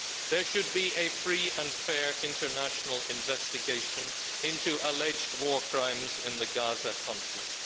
There should be a free and fair international investigation into alleged war crimes in the Gaza conflict.